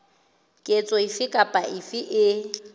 ketso efe kapa efe e